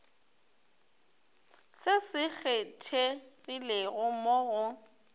se se kgethegilego mo go